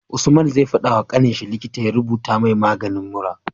Usman zai fada wa kaninshi likita ya rubuta mai maganin mura